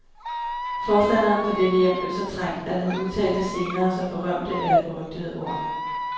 Forstanderen for dette hjem blev så trængt, at han udtalte de senere så berømte, eller berygtede, ord.